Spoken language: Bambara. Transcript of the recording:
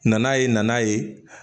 Nana ye nan'a ye